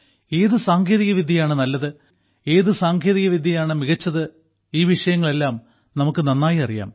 ഏത് സാങ്കേതികവിദ്യയാണ് നല്ലത് ഏത് സാങ്കേതികവിദ്യയാണ് മികച്ചത് ഈ വിഷയങ്ങളെല്ലാം നമുക്ക് നന്നായി അറിയാം